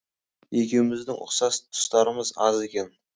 екеуміздің ұқсас тұстарымыз аз екен